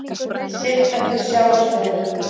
Siglt eftir sjávarstöðu